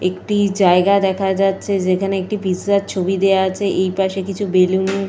একটি জায়গা দেখা যাচ্ছে যেখানে একটি পিজ্জার ছবি দেওয়া আছে। এইপাশে কিছু বেলুন --